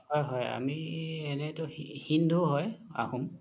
হয় হয় আমি এনেতো হিন্দু হয় আহোম